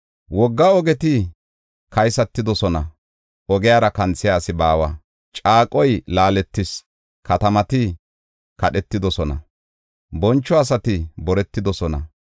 Wogga ogeti kaysatidosona; ogiyara kanthiya asi baawa. Caaqoy laaletis; katamati kadhetidosona; boncho asati boretidosona.